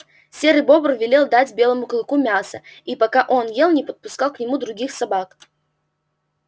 серый бобр велел дать белому клыку мяса и пока он ел не подпускал к нему других собак